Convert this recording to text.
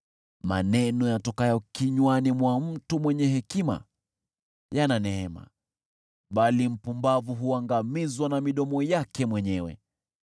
Maneno yatokayo kinywani mwa mtu mwenye hekima yana neema, bali mpumbavu huangamizwa na midomo yake mwenyewe.